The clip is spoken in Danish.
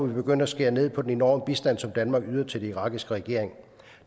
vi begynde at skære ned på den enorme bistand som danmark yder til den irakiske regering